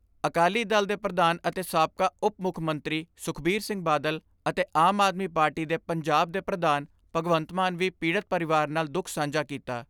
ਅਕਾਲੀ ਦਲ ਦੇ ਪ੍ਰਧਾਨ ਅਤੇ ਸਾਬਕਾ ਉਪ ਮੁੱਖ ਮੰਤਰੀ ਸੁਖਬੀਰ ਸਿੰਘ ਬਾਦਲ ਅਤੇ ਆਮ ਆਦਮੀ ਪਾਰਟੀ ਦੇ ਪੰਜਾਬ ਦੇ ਪ੍ਰਧਾਨ ਭਗਵੰਤ ਮਾਨ ਵੀ ਪੀੜਤ ਪਰਿਵਾਰ ਨਾਲ ਦੁੱਖ ਸਾਂਝਾ ਕੀਤਾ।